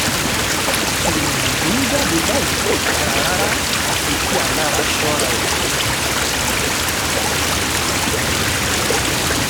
ìròyìn tó ń jáde báyìí kò dáa rárá àfi kí alára ṣọ́ra ẹ̀ gidi o